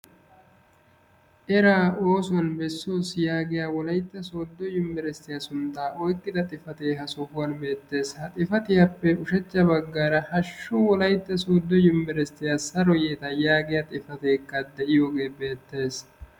eraa oosuwan bessooso yaagiya wolaytta soodo yuniversitiya suntaa oyqida, xifatee ha sohuwan beettees. ha xifattiyappe ushacha bagaara hashu wolaytta soodo yuniversitiya saro yeeta yaagiya xifatee dees.